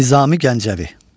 Nizami Gəncəvi.